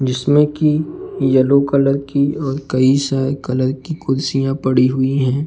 जिसमें कि yellow colour की और कई सारी कलर की कुर्सियां पड़ी हुई हैं।